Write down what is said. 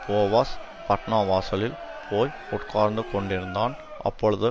Boaz பட்டணவாசலில் போய் உட்கார்ந்துகொண்டிருந்தான் அப்பொழுது